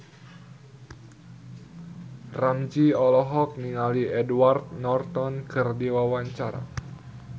Ramzy olohok ningali Edward Norton keur diwawancara